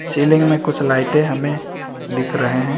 Ceiling में कुछ लाइटें हमें दिख रहे हैं।